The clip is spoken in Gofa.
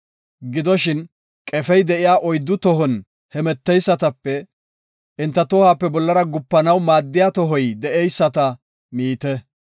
Gidoshin, qefey de7iya oyddu tohon hemeteysatape enta tohuwape bollara gupanaw maaddiya tohoy de7eyisata miite.